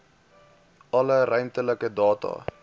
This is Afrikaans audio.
alle ruimtelike data